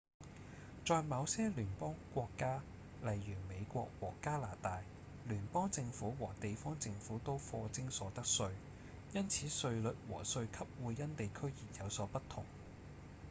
在某些聯邦國家例如美國和加拿大聯邦政府和地方政府都課徵所得稅因此稅率和稅級會因地區而有所不同